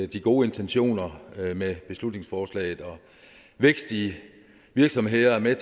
de gode intentioner med beslutningsforslaget vækst i virksomhederne er